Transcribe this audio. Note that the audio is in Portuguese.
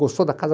Gostou da casa?